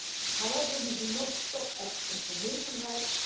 However, we do not stop at information rights.